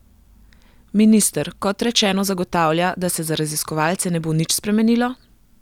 Minister, kot rečeno, zagotavlja, da se za raziskovalce ne bo nič spremenilo?